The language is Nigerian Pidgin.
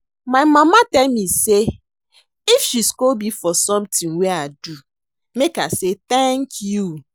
My mama tell me say if she scold me for something wey I do make I say thank you